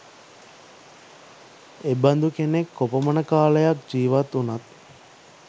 එබඳු කෙනෙක් කොපමණ කාලයක් ජීවත් වුනත්